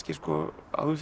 áður fyrr